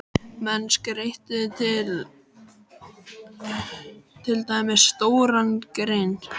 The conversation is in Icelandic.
Menn skreyttu til dæmis stóran hrein.